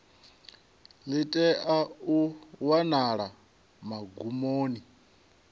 ḽi tea u wanala magumoni